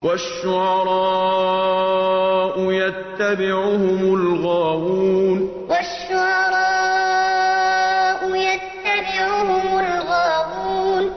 وَالشُّعَرَاءُ يَتَّبِعُهُمُ الْغَاوُونَ وَالشُّعَرَاءُ يَتَّبِعُهُمُ الْغَاوُونَ